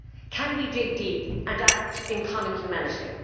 Can we dig deep and act in common humanity?